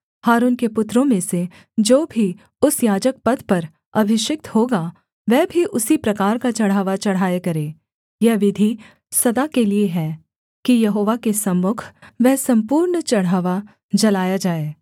हारून के पुत्रों में से जो भी उस याजकपद पर अभिषिक्त होगा वह भी उसी प्रकार का चढ़ावा चढ़ाया करे यह विधि सदा के लिये है कि यहोवा के सम्मुख वह सम्पूर्ण चढ़ावा जलाया जाए